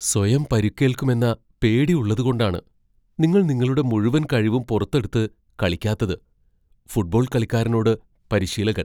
സ്വയം പരിക്കേൽക്കുമെന്ന പേടി ഉള്ളത്കൊണ്ടാണ് നിങ്ങൾ നിങ്ങളുടെ മുഴുവൻ കഴിവും പുറത്തെടുത്ത് കളിക്കാത്തത്. ഫുട്ബോൾ കളിക്കാരനോട് പരിശീലകൻ